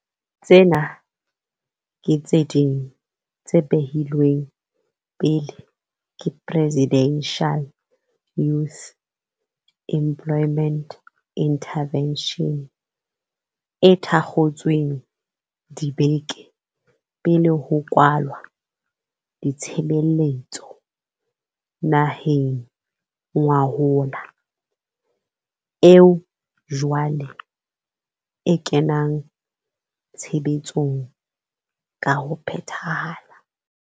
Tsena ke tse ding tse behilweng pele ke Presidential Youth Employment Interve ntion, e thakgotsweng dibeke pele ho kwalwa ditshebeletso naheng ngwahola, eo jwale e kenang tshebetsong ka ho phethahala.